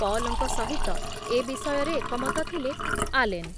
ପଲଙ୍କ ସହିତ ଏ ବିଷୟରେ ଏକମତ ଥିଲେ ଆଲେନ ।